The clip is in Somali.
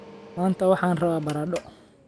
Maanta waxaan rabaa baradho